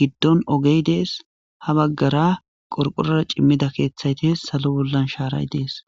giddon ogee dees; ha baggara qorqqorora cimiza keeththay dees; hazu bollan shaaray dees.